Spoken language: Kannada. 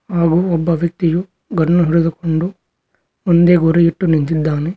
ಹಾಗು ಒಬ್ಬ ವ್ಯಕ್ತಿಯು ಗನ್ನು ಹಿಡಿದುಕೊಂಡು ಒಂದೇ ಗುರಿಯಿಟ್ಟು ನಿಂತಿದ್ದಾನೆ.